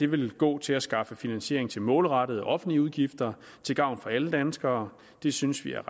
vil gå til at skaffe finansiering til målrettede offentlige udgifter til gavn for alle danskere det synes vi er